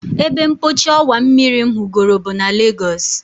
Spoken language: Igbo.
Ebempochi ọwa mmiri m hụgoro bụ na Legos